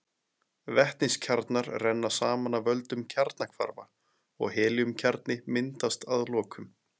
Vetniskjarnar renna saman af völdum kjarnahvarfa og helíumkjarni myndast að lokum.